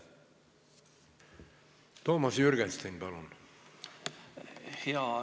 Toomas Jürgenstein, palun!